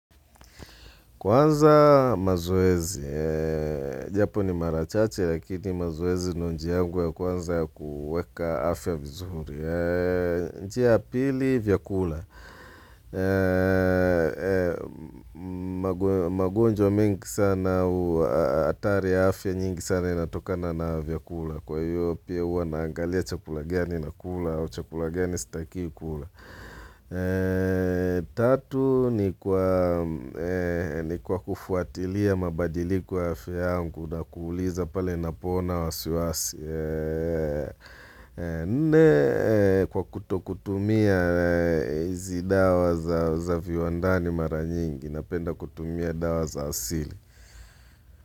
Kwanza mazoezi, japo ni mara chache lakini mazoezi ndio njia yangu ya kwanza ya kuweka afya vizuri. Njia ya pili vyakula, magonjwa mengi sana au hatari ya afya nyingi sana inatokana na vyakula. Kwa hiyo pia huwa naangalia chakula gani na kula au chakula gani stakiwi kula. Tatu ni kwa kufuatilia mabadiliko ya afya na kuuliza pale napoona wasiwasi Nne kwa kutokutumia hizi dawa za viwandani mara nyingi Napenda kutumia dawa za asili.